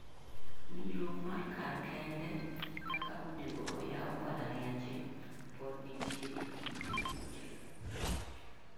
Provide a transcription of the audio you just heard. Winjruok mar kar kende kaka onego oyaw mbalarinje podi nitie ei kind jopunjore .